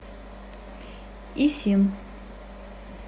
исин